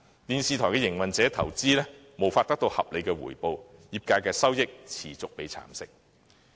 電視台營運者的投資無法得到合理回報，業界的收益也持續被蠶食。